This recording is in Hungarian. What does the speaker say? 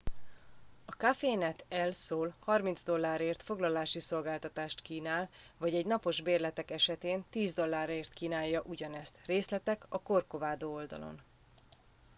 a cafenet el sol 30 dollárért foglalási szolgáltatást kínál vagy egy napos bérletek esetén 10 dollárért kínálja ugyanezt részletek a corcovado oldalon